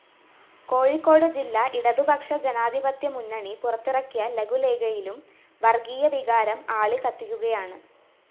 കോഴിക്കോട് ജില്ലാ ഇടതുപക്ഷ ജനാധിപത്യമുന്നണി പുറത്തിറക്കിയ ലഘുലേഖയിലും വര്‍ഗ്ഗീയവികാരം ആളിക്കത്തിക്കുകയാണ്